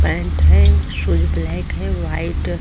pant है shoes black है white --